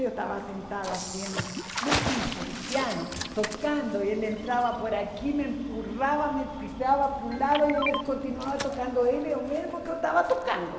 Eu estava sentada assim no piso do piano, tocando, e ele entrava por aqui, me empurrava, me empurrava para o lado, e ele continuava tocando ele, o mesmo que eu estava tocando.